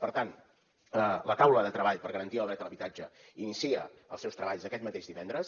per tant la taula de treball per garantir el dret a l’habitatge inicia els seus treballs aquest mateix divendres